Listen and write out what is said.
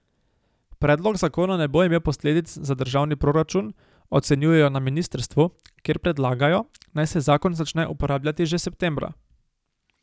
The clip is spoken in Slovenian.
Predlog zakona ne bo imel posledic za državni proračun, ocenjujejo na ministrstvu, kjer predlagajo, naj se zakon začne uporabljati že septembra.